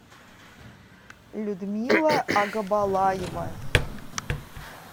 людмила агабалаева